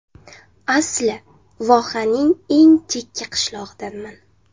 Asli vohaning eng chekka qishlog‘idanman.